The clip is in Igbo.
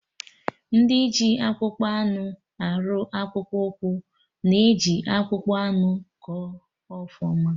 Ndị ji akpụkpọ anụ arụ akpụkpụ ụkwụ na-eji akpụkpọ anụ kọ ọfụma